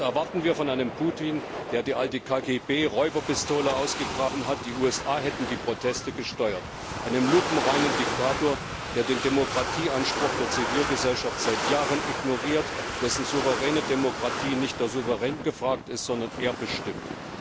Und was erwarten wir von einem Putin, der die alte KGB Räuberpistole ausgegraben hat, die USA hätten die Proteste gesteuert, einem lupenreinen Diktator, der den Demokratieanspruch der Zivilgesellschaft seit Jahren ignoriert, in dessen souveräner Demokratie nicht der Souverän gefragt ist, sondern er bestimmt!